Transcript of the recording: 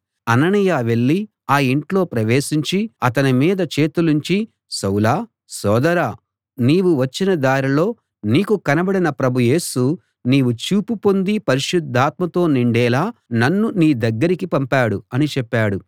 అననీయ వెళ్ళి ఆ ఇంట్లో ప్రవేశించి అతని మీద చేతులుంచి సౌలా సోదరా నీవు వచ్చిన దారిలో నీకు కనబడిన ప్రభు యేసు నీవు చూపు పొంది పరిశుద్ధాత్మతో నిండేలా నన్ను నీ దగ్గరకి పంపాడు అని చెప్పాడు